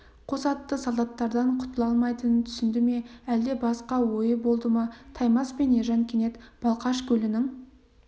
қос атты солдаттардан құтыла алмайтынын түсінді ме әлде басқа ойы болды ма таймас пен ержан кенет балқаш көлінің